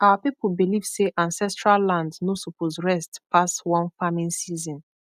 our people believe say ancestral land no suppose rest pass one farming season